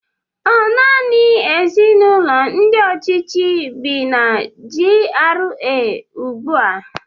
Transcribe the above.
Ọ nanị ezinụlọ ndị ọchịchị bị na GRA ugbu a?